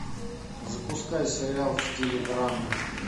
запускай сериал в стиле драмы